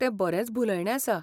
तें बरेंच भुलयणें आसा.